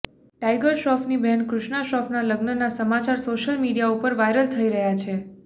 tiger શ્રોફની બહેન કૃષ્ણા શ્રોફના લગ્નના સમાચાર સોશિયલ મીડિયા ઉપર વાયરલ થઇ રહ્યા છે